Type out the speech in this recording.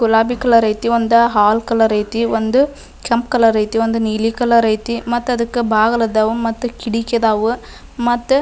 ಗುಲಾಬಿ ಕಲರ್ ಐತಿ ಒಂದ್ ಹಾಲ್ ಕಲರ್ ಐತಿ ಒಂದು ಕೆಂಪ್ ಕಲರ್ ಐತಿ ಒಂದು ನೀಲಿ ಕಲರ್ ಐತಿ ಮತ್ತ ಅದಕ್ಕ ಬಾಗಿಲ್ ಆದವು ಮತ್ತ ಕಿಡಕಿ ಆದವ ಮತ್ತ--